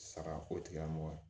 Saga ko tigilamɔgɔ